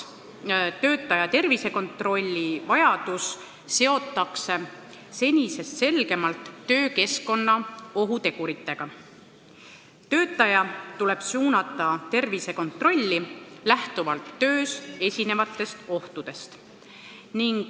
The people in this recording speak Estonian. Töötaja tervisekontrolli vajadus seotakse senisest selgemalt töökeskkonna ohuteguritega, töötaja tuleb suunata tervisekontrolli lähtuvalt töös esinevatest ohtudest.